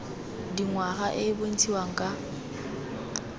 dingwaga e e bontshiwang ka